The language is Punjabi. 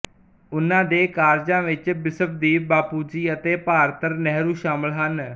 ਉਨ੍ਹਾਂ ਦੇ ਕਾਰਜਾਂ ਵਿੱਚ ਬਿਸਵਦੀਪ ਬਾਪਾੂਜੀ ਅਤੇ ਭਾਰਤਰ ਨਹਿਰੂ ਸ਼ਮਲ ਹਨ